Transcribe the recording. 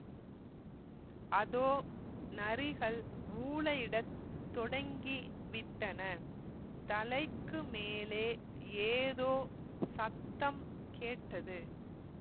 அதோ நரிகள் ஊளையிடத் தொடங்கி விட்டன தலைக்கு மேலே ஏதோ சத்தம் கேட்டது